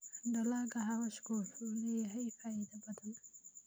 Dalagga xawaashku wuxuu leeyahay faa'iidooyin badan.